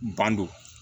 Bandon